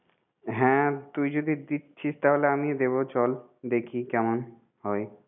হ্যাঁ তুই যদি দিচ্ছিস তাহলে আমিও দেব চল দেখি কেমন হয়।